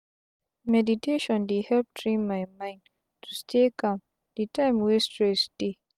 meditation dey help train my mind to stay calm de time wey stress dey